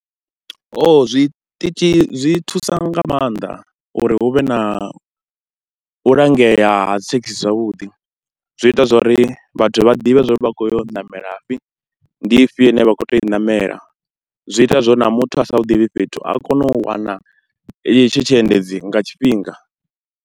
Ho zwiṱitshi zwi thusa nga maanḓa uri hu vhe na u langea ha dzi thekhisi zwavhuḓi, zwi ita zwo ri vhathu vha ḓivhe zwo uri vha khou ya u ṋamela fhi, ndi ifhio ine vha khou tea u i ṋamela, zwi ita zwo ri na muthu a sa u ḓivhi fhethu a kone u wana hetshi tshiendedzi nga tshifhinga.